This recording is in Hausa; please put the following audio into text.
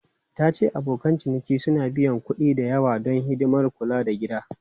Ta ce abokan ciniki suna biyan kuɗi da yawa don hidimar kula da gida.